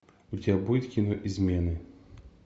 у тебя будет кино измены